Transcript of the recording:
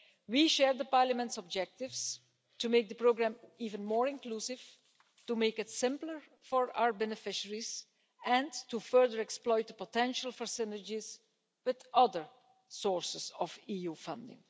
We share the Parliament's objectives to make the programme even more inclusive, to make it simpler for our beneficiaries and to further exploit the potential for synergies with other sources of EU funding.